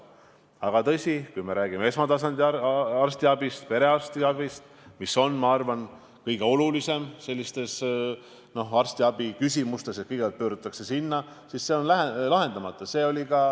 Aga tõsi, kui me räägime esmatasandi arstiabist, perearstiabist, mis on, ma arvan, arstiabi puhul kõige olulisem, sest kõigepealt pöördutakse sinna, siis see on lahendamata.